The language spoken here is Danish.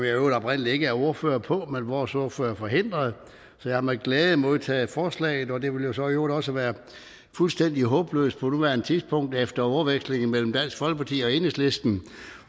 i øvrigt oprindelig ikke er ordfører på men vores ordfører er forhindret så jeg har med glæde modtaget forslaget og det vil jo så i øvrigt også være fuldstændig håbløst på nuværende tidspunkt efter ordvekslingen mellem dansk folkeparti og enhedslisten